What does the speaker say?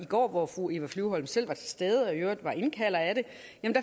går hvor fru eva flyvholm selv var til stede og i øvrigt var indkalder af